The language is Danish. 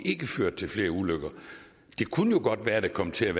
ikke ført til flere ulykker det kunne jo godt være at der kom til at